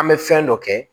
An bɛ fɛn dɔ kɛ